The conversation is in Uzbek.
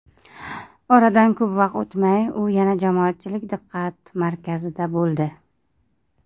Oradan ko‘p o‘tmay, u yana jamoatchilik diqqat markazida bo‘ldi.